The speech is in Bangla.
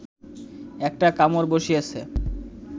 একটা কামড় বসিয়েছে